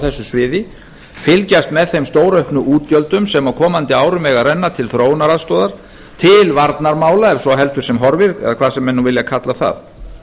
þessu sviði fylgjast með þeim stórauknu útgjöldum sem á komandi árum eiga að renna til þróunaraðstoðar til varnarmála ef svo heldur sem horfir eða hvað sem menn vilja kalla það